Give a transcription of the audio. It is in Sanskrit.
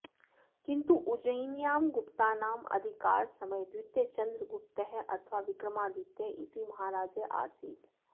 किन्तु उज्जयिन्यां गुप्तानाम् अधिकारसमये द्वितीयचन्द्रगुप्तः अथवा विक्रमादित्यः इति महाराजः आसीत्